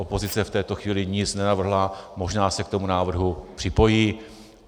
Opozice v této chvíli nic nenavrhla, možná se k tomu návrhu připojí.